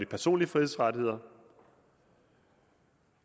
personlige frihedsrettigheder